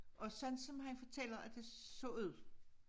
Og sådan som han fortæller at det så ud